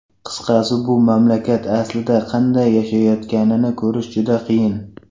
Qisqasi, bu mamlakat aslida qanday yashayotganini ko‘rish juda qiyin.